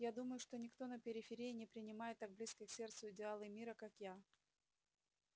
я думаю что никто на периферии не принимает так близко к сердцу идеалы мира как я